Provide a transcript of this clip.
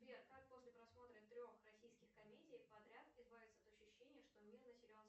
сбер как после просмотра трех российских комедий подряд избавиться от ощущения что мир населен